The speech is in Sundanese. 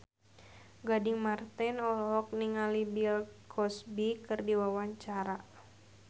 Gading Marten olohok ningali Bill Cosby keur diwawancara